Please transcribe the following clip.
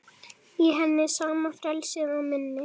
Í henni sama frelsið og minni.